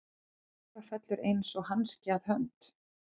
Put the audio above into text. Eitthvað fellur eins og hanski að hönd